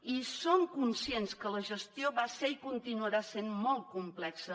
i som conscients que la gestió va ser i continuarà sent molt complexa